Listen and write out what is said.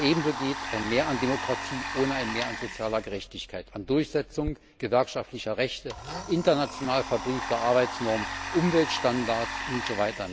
Aber ebensowenig geht ein Mehr an Demokratie ohne ein Mehr an sozialer Gerechtigkeit, an Durchsetzung gewerkschaftlicher Rechte, international verbriefter Arbeitsnormen, Umweltstandards usw.